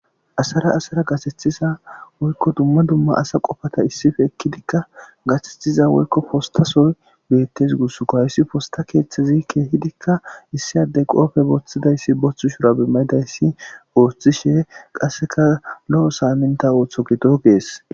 asara asara gasethiza woykko dumma dumma asa qofata issife ekkidikka gasethiza woykko postasoy beettes gussko hayssi posta keeththezi keehidikka issi addey qoofe booththidayssi boththu shura bimayidayssi ooththishe qasseka lo7o saaminta ooththo gido gees